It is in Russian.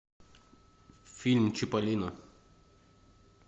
фильм чиполлино